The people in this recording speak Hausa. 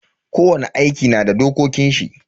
Kowani aiki na da dokokin shi.